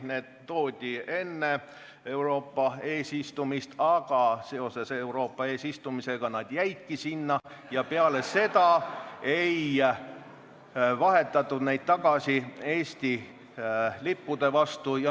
Need toodi enne Euroopa Liidu eesistumist, aga seoses eesistumisega nad jäidki sinna ja peale seda ei vahetatud neid tagasi Eesti lippude vastu.